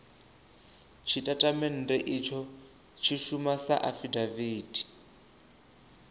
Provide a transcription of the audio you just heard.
tshitatamennde itsho tshi shuma sa afidaviti